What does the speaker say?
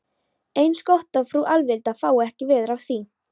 Eins gott að frú Alvilda fái ekki veður af því.